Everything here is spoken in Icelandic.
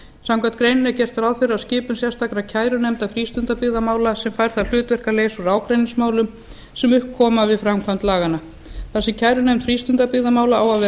samkvæmt greininni er gert ráð fyrir að skipun sérstakrar kærunefndar frístundabyggðamála sem fær það hlutverk að leysa úr ágreiningsmálum sem upp koma frið framkvæmd laganna þar sem kærunefnd frístundabyggðamála á að